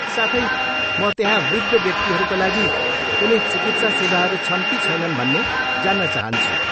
साथै, म त्यहाँ वृद्ध व्यक्तिहरूका लागि कुनै चिकित्सा सेवाहरू छन् कि छैनन् भन्ने जान्न चाहन्छु?